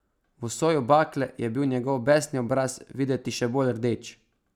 V soju bakle je bil njegov besni obraz videti še bolj rdeč.